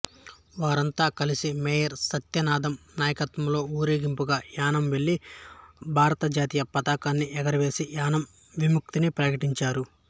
వారంతా కలసి మేయర్ సత్యానందం నాయకత్యంలో ఊరేగింపుగా యానాం వెళ్ళి భారతజాతీయ పతాకాన్ని ఎగురవేసి యానాం విముక్తిని ప్రకటించారు